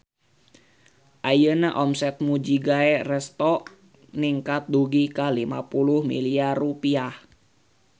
Ayeuna omset Mujigae Resto ningkat dugi ka 50 miliar rupiah